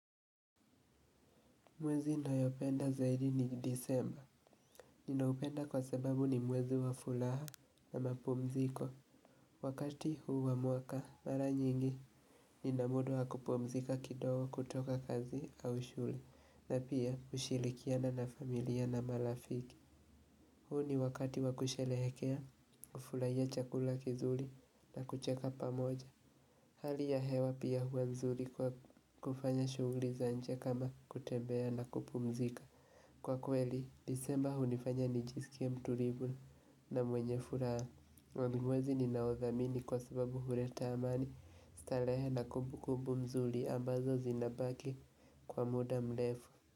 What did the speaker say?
Mwezi nayopenda zaidi ni disemba. Ninaupenda kwa sababu ni mwezi wa fulaha na mapumziko. Wakati huu wa muaka, mara nyingi ninamuda wa kupumzika kidogo kutoka kazi au shule. Na pia ushirikiana na familia na malafiki. Huu ni wakati wa kushelehekea, ufulaia chakula kizuli na kucheka pamoja. Hali ya hewa pia huwa mzuli kwa kufanya shugli za nje kama kutembea na kupumzika. Kwa kweli, disemba hunifanya nijisikie mtulivu na mwenye furaha. Wamigwezi ninaothamini kwa sababu hureta amani, stalehe na kubu kubu mzuli ambazo zinabaki kwa muda mlefu.